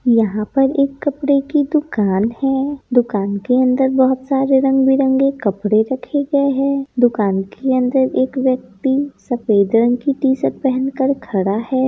यहां पर एक कपड़े की दुकान है दुकान के अंदर बहोत सारे रंग-बिरंगे कपड़े रखे गए हैं दुकान के अंदर एक व्यक्ति सफेद रंग की टी-शर्ट पहनकर खड़ा है।